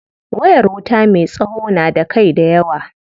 Wayar wuta me tsawo na da kai dayawa.